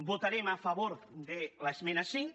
votarem a favor de l’esmena cinc